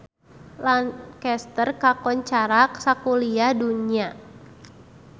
Lancaster kakoncara sakuliah dunya